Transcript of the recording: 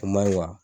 O man ɲi